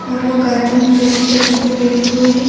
اور وو گردن جیسی جگہ پر بیٹھے ہوئے ہے-